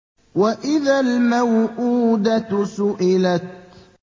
وَإِذَا الْمَوْءُودَةُ سُئِلَتْ